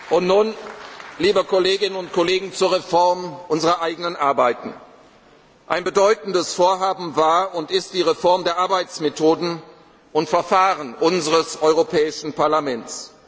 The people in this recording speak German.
Und nun, liebe Kolleginnen und Kollegen, zur Reform unserer eigenen Arbeiten Ein bedeutendes Vorhaben war und ist die Reform der Arbeitsmethoden und Verfahren unseres Europäischen Parlaments.